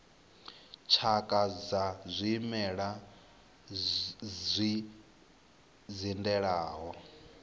tshakha dza zwimela zwi dzindelaho